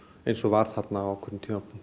eins og var þarna á ákveðnu